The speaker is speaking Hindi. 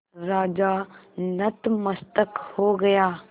राजा नतमस्तक हो गया